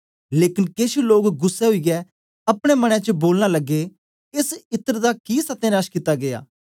लेकन केछ लोग गुस्सै ओईयै अपने मन च बोलन लगे एस इत्र दा कि सत्यनाश कित्ता गीया